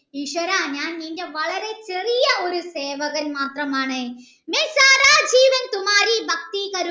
ഈശ്വര ഞാൻ നിൻ്റെ ചെറിയ ഒരു സേവകൻ മാത്രമാണ്